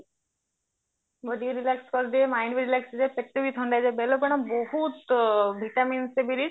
body relax କରିଦିଏ mind ବି relax ରୁହେ ପେଟ ବି ଥଣ୍ଡା ରୁହେ ବେଳ ପଣା ବାହୁତ vitamins ମିଳେ